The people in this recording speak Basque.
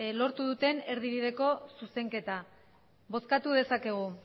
lortu duten erdibideko zuzenketa bozkatu dezakegu